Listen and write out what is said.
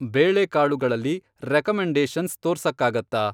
ಬೇಳೆಕಾಳುಗಳಲ್ಲಿ recommendations ತೋರ್ಸಕ್ಕಾಗತ್ತಾ?